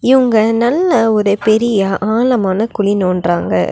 இவங்க நல்ல ஒரு பெரிய ஆழமான குழி நோன்ட்ராங்க.